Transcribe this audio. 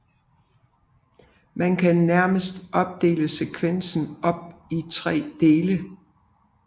Man kan nærmest opdele sekvensen op i 3 dele